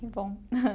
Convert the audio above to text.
Que bom.